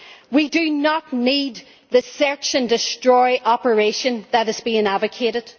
We do not need the search and destroy' operation that is being advocated.